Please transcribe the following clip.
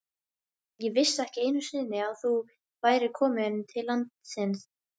Ég vissi ekki einu sinni að þú værir komin til landsins.